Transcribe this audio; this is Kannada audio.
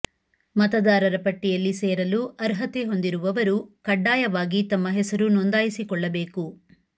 ಮತದಾರರ ಪಟ್ಟಿಯಲ್ಲಿ ಸೇರಲು ಅರ್ಹತೆ ಹೊಂದಿರುವವರು ಕಡ್ಡಾಯವಾಗಿ ತಮ್ಮ ಹೆಸರು ನೊಂದಾಯಿಸಿಕೊಳ್ಳಬೇಕು